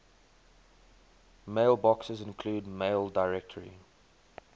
mailboxes include maildir